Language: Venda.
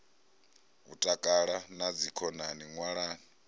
u takala na dzikhonani ṅwalani